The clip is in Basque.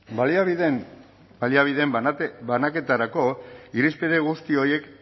baliabideen banaketarako irizpide guzti horiek